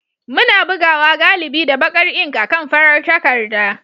Muna bugawa galibi da baƙar ink akan farar takarda.